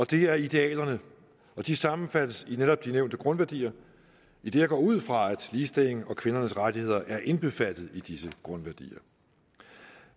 det er idealerne og de sammenfattes i de netop nævnte grundværdier idet jeg går ud fra at ligestilling og kvindernes rettigheder er indbefattet i disse grundværdier